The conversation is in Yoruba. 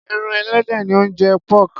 Ẹran ẹlẹdẹ ni ó ń jẹ́ pork.